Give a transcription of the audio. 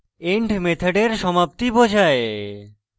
end end মেথডের সমাপ্তি বোঝায়